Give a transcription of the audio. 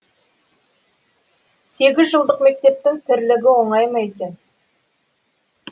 сегізжылдық мектептің тірлігі оңай ма екен